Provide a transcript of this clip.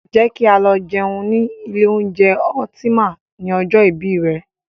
Jẹ́ kí á lọ jẹun ni ilé oúnjẹ Ultima ni ọjọ́ ìbí rè.